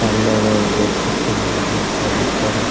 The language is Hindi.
हेलो गाइस देख सकते हैं यहां पे एक ऑफिसर है।